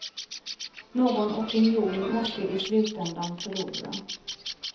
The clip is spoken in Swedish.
Någon opinion måste i slutändan förlora.